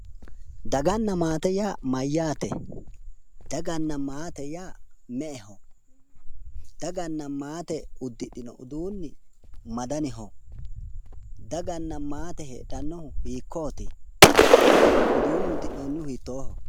Daganna maate ya mayyaate? dagana maate me"eho? Daganna maate uddidhino uduunni ma daniho? Daganna maate heedhannohu hikkoti? Uduunnu uddino'nihu hiittoho?